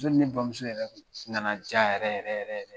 ni bamuso yɛrɛ nana diya yɛrɛ yɛrɛ yɛrɛ..